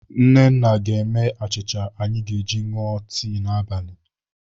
Nnanna ga-eme achịcha anyị ga-eji ṅụọ tii n'abalị.